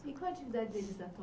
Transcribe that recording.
E qual a atividade deles atualmente?